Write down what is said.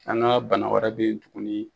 An ka bana wɛrɛ be yen tuguni